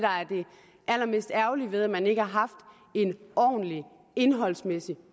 allermest ærgerlige ved at man ikke har haft en ordentlig indholdsmæssig